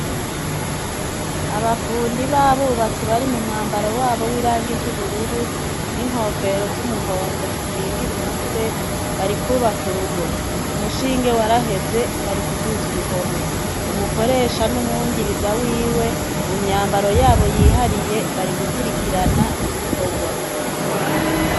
Abafundi b’abubatsi bari mu mwambaro wabo w’irangi ry’ubururu n’inkofero z’umuhondo zikingira umutwe, bari kubaka urugo. Umushinge waraheze, bari kuduza uruhome. Umukoresha n’umwungiriza wiwe mu myambaro yabo yiharije bari gukurikirana ibikorwa.